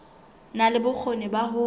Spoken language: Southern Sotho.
na le bokgoni ba ho